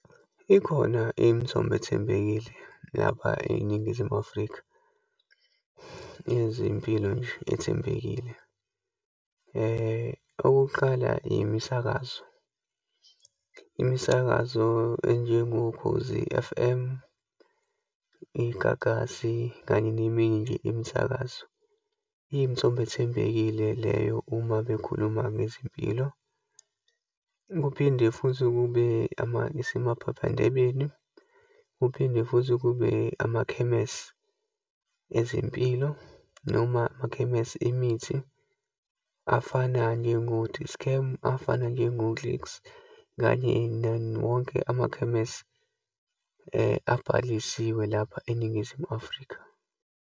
Ikhona imithombo ethembekile lapha eNingizimu Afrika yezempilo nje, ethembekile. Okokuqala, imisakazo. Imisakazo enjengoKhozi FM, Igagasi, kanye neminye nje imisakazo, iyimithombo ethembekile leyo uma bekhuluma ngezempilo. Kuphinde futhi kube ama isemaphephandabeni, kuphinde futhi kube amakhemesi ezempilo, noma amakhemesi emithi afana njengo-Dischem, afana njengo-Clicks, kanye nani, wonke amakhemesi abhalisiwe lapha eNingizimu Afrika.